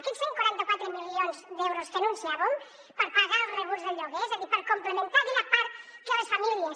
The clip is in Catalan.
aquests cent i quaranta quatre milions d’euros que anunciàvem per pagar els rebuts del lloguer és a dir per complementar aquella part que les famílies